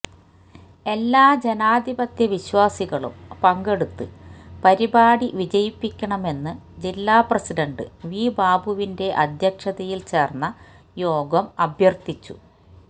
എല്ലാ ജനാധിപത്യ വിശ്വാസികളും പങ്കെടുത്ത് പരിപാടി വിജയിപ്പിക്കണമെന്ന് ജില്ലാ പ്രസിഡന്റ് വി ബാബുവിന്റെ അധ്യക്ഷതയില് ചേര്ന്ന യോഗം അഭ്യര്ത്ഥിച്ചു